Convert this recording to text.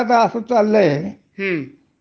ते सुद्धा नोकर कपात करतायेत.